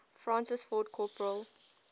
francis ford coppola